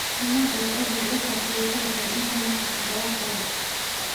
Mesut Ozil wuu faafiyey sawirkan internet todobaad ka hor.